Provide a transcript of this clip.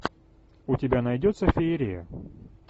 у тебя найдется феерия